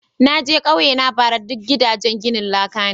Na je kauyena bara ,duk gidajen ginin laka ne.